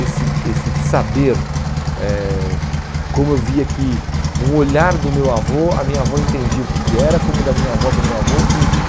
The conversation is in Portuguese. Esse esse saber eh, como eu via que um olhar do meu avô, a minha avó entendia o que que era, como o da minha avó para o meu avô, idem.